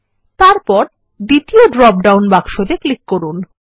তারপর দ্বিতীয় ড্রপডাউন বাক্সতে ক্লিক করুন